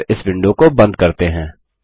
और इस विंडो को बंद करते हैं